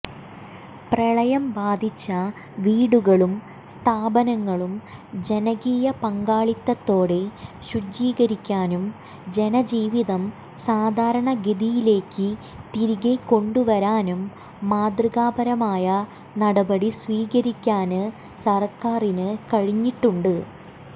പ്രളയം ബാധിച്ച വീടുകളും സ്ഥാപനങ്ങളും ജനകീയ പങ്കാളിത്തത്തോടെ ശുചീകരിക്കാനും ജനജീവിതം സാധാരണഗതിയിലേക്ക് തിരികെക്കൊണ്ടുവരാനും മാതൃകാപരമായ നടപടി സ്വീകരിക്കാന് സര്ക്കാറിന് കഴിഞ്ഞിട്ടുണ്ട്